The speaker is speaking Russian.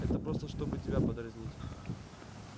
это просто чтобы тебя подразнить